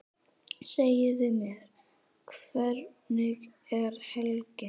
Segðu mér, hvernig er helgin?